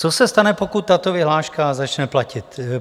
Co se stane, pokud tato vyhláška začne platit?